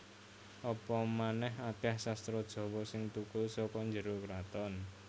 Apa manèh akèh sastra Jawa sing thukul saka njero kraton